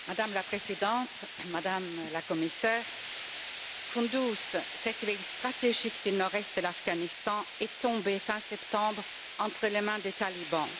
Madame la Présidente, Madame la Commissaire, Koundouz, cette ville stratégique du Nord Est de l'Afghanistan, est tombée fin septembre entre les mains des talibans.